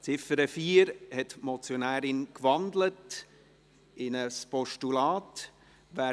Die Motionärin hat die Ziffer 4 in ein Postulat gewandelt.